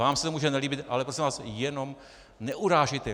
Vám se to může nelíbit, ale prosím vás, jenom neurážejte.